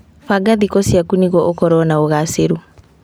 Banga thikũ ciaku nĩguo ũkorwo na ũgacĩru.